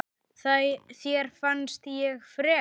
Þér fannst ég frek.